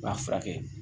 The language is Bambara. U b'a furakɛ